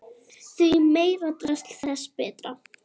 Því meira drasl þess betra.